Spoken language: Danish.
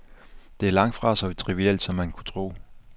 Det er langtfra så trivielt, som man kunne tro.